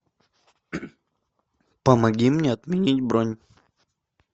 помоги мне отменить бронь